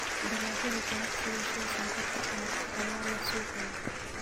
Dalagyada ganacsiga sida sonkorta canabka ayaa leh suuq weyn.